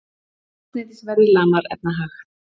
Eldsneytisverðið lamar efnahag